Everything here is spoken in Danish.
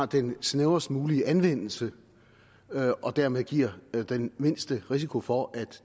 den snævrest mulige anvendelse og dermed giver den mindste risiko for at